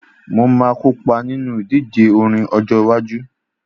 Mo máa kópa nínú ìdíje orin ọjọ iwájú